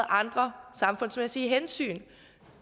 andre samfundsmæssige hensyn